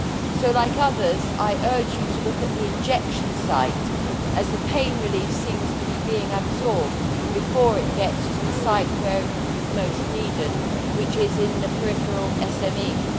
So I, like others, would urge you to look at the injection site, as the pain relief seems to be being absorbed before it gets to the site where it is most needed, which is in the peripheral SMEs.